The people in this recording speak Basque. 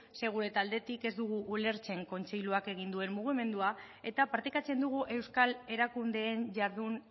ze gure taldetik ez dugu ulertzen kontseiluak egin duen mugimendua eta partekatzen dugu euskal erakundeen jardun